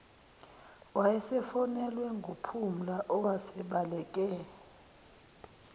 wayesefonelwe nguphumla owasebaleke